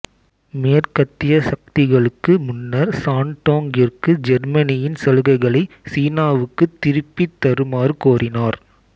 மேற்கத்திய சக்திகளுக்கு முன்னர் சாண்டோங்கிற்கு ஜெர்மனியின் சலுகைகளை சீனாவுக்கு திருப்பித் தருமாறு கோரினார்